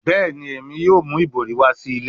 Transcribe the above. Bẹẹni, Emi yoo mu ibori wa si ile